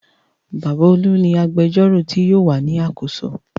Bàbá Olú ni agbẹjọ́rò tí yóò wà ní àkóso.